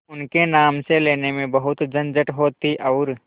उनके नाम से लेने में बहुत झंझट होती और